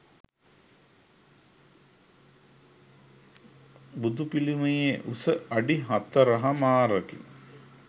බුදු පිළිමයේ උස අඩි හතර හමාරකි.